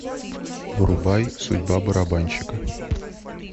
врубай судьба барабанщика